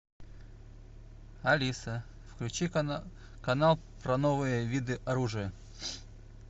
алиса включи канал про новые виды оружия